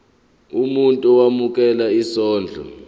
umuntu owemukela isondlo